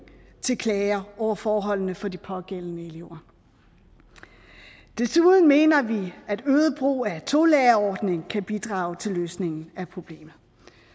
til klager over forholdene for de pågældende elever desuden mener vi at en øget brug af tolærerordninger kan bidrage til løsningen af problemet